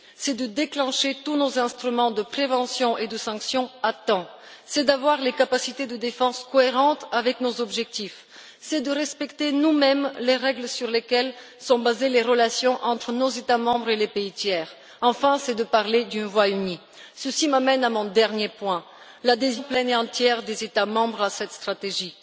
C'est de déclencher tous nos instruments de prévention et de sanction à temps, de disposer de capacités de défense cohérentes avec nos objectifs, de respecter nous mêmes les règles sur lesquelles sont basées les relations entre nos États membres et les pays tiers et, enfin, de parler d'une seule voix. Ceci m'amène à mon dernier point, l'adhésion pleine et entière des États membres à cette stratégie.